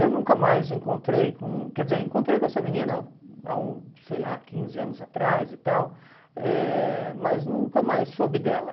Eu nunca mais encontrei com... Quer dizer, encontrei com essa menina hum há um, sei lá, quinze anos atrás e tal, eh mas nunca mais soube dela.